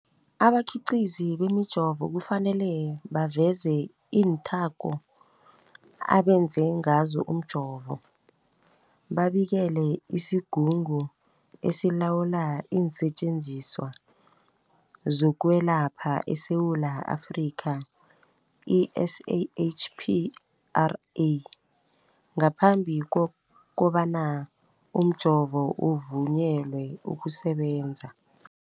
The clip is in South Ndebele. Abakhiqizi bemijovo kufanele baveze iinthako abenze ngazo umjovo, babikele isiGungu esiLawula iinSetjenziswa zokweLapha eSewula Afrika, i-SAHPRA, ngaphambi kobana umjovo uvunyelwe ukusebenza.